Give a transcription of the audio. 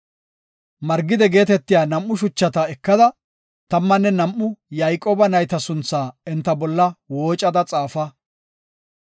Margide geetetiya nam7u shuchata ekada, tammanne nam7u Yayqooba nayta sunthaa enta bolla woocada xaafa.